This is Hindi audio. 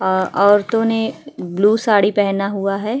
अ औरतों ने ब्लू साड़ी पहना हुआ है।